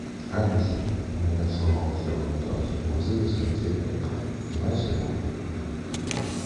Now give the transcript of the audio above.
алиса у меня сломался унитаз вызови сантехника на сегодня